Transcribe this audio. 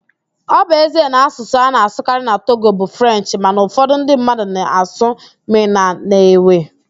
Ọ bụ ezie na asụsụ a na-asụkarị na Togo bụ Frenchị mana ụfọdụ​ ndị mmadụ na-asụ Mịna na Ewe